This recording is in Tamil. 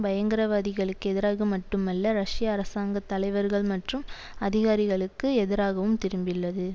பயங்ரவாதிகளுக்கு எதிராக மட்டுமல்ல ரஷ்ய அரசாங்க தலைவர்கள் மற்றும் அதிகாரிகளுக்கு எதிராகவும் திரும்பிள்ளது